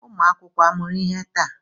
Ụmụ akwụkwọ amụrụ ihe taa?